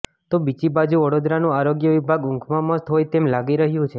તો બીજી બાજુ વડોદરાનું આરોગ્ય વિભાગ ઊંઘમાં મસ્ત હોય તેમ લાગી રહ્યું છે